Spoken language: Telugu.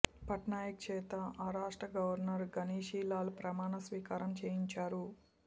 పట్నాయక్ చేత ఆ రాష్ట్ర గవర్నర్ గణేషి లాల్ ప్రమాణ స్వీకారం చేయించారు